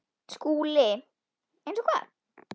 SKÚLI: Eins og hvað?